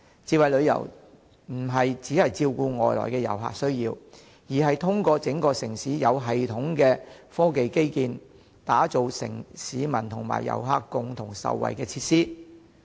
智慧旅遊不單照顧外來遊客的需要，更是在整個城市實施有系統的科技基建，以及提供市民和遊客共同受惠的設施。